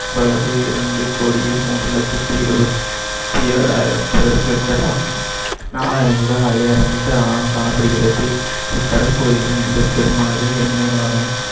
பரப்பளவு இரண்டு கோடியே மூன்று லட்சத்தி இருபத்தி ஏழாயிரம் சதுர kilometer ஆகும். நாலாயிரம் முதல் ஐயாயிரம் meter ஆழம் காணப்படுகிறது. இக்கடல் பகுதியில மிகப்பெரும் அளவில் எண்ணெய் வளமும்